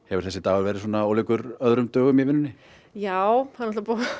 hefur þessi dagur verið ólíkur öðrum dögum í vinnunni já það er